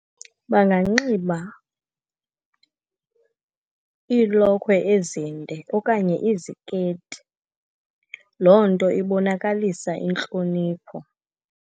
Banganxiba iilokhwe ezinde okanye iziketi. Loo nto ibonakalisa intlonipho.